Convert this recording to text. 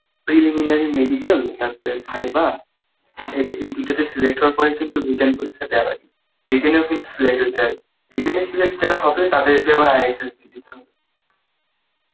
preliminary medical তারপরে viva এইটা এই দুটোতে select হওয়ার পরে কিন্তু written পরীক্ষা দেওয়া যাবে written এ ও কিন্তু select হতে হবে, written এ select যারা হবে তাদেরকে আবার ISSB দিতে হবে